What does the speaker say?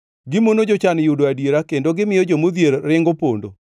Gimono jochan yudo adiera kendo gimiyo jomodhier ringo pondo.